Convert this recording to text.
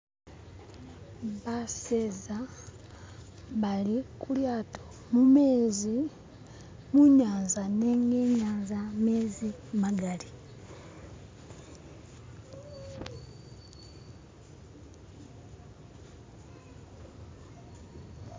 baseza bali kulyato mumezi munyanza nenga inyanza mezi magali